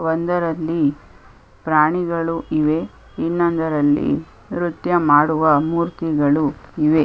ಒಂದರಲ್ಲಿ ಪ್ರಾಣಿಗಳು ಇವೆ ಇನ್ನೊಂದರಲ್ಲಿ ನೃತ್ಯ ಮಾಡುವ ಮೂರ್ತಿಗಳು ಇವೆ .